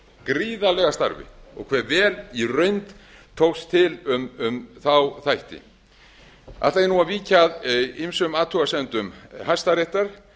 gríðarlega starfi og hve vel í raun tókst til um þá þætti ætla ég nú að víkja að ýmsum athugasemdum hæstaréttar